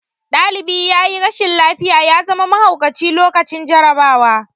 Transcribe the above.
Ɗalibi yayi rashin lafiya ya zama mahaukaci lokacin jarabawa